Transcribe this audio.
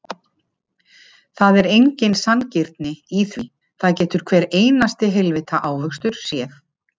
Það er engin sanngirni í því, það getur hver einasti heilvita ávöxtur séð.